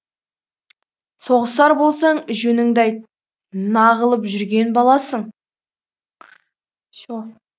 соғысар болсаң жөніңді айт нағылып жүрген баласың